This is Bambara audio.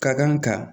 Ka kan ka